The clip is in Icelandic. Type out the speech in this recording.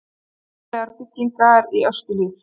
Óvenjulegar byggingar í Öskjuhlíð